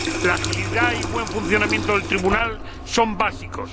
La agilidad y el buen funcionamiento del Tribunal son básicos.